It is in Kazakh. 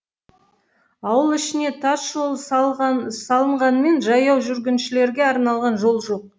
ауыл ішіне тас жол салынғанымен жаяу жүргіншілерге арналған жол жоқ